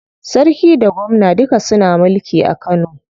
Sarki da gwamna duka suna mulki a Kano.